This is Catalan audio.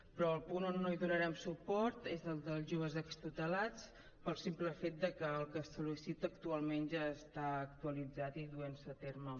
però el punt on no donarem suport és el dels joves extutelats pel simple fet de que el que es sol·licita actualment ja està actualitzat i duent se a terme